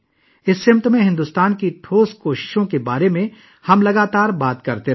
ہم اس سمت میں بھارت کی ٹھوس کوششوں کے بارے میں مسلسل بات کر رہے ہیں